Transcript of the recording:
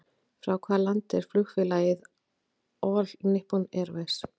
Frá hvaða landi er flugfélagið All Nippon Airways?